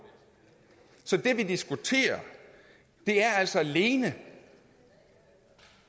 så det vi diskuterer er altså alene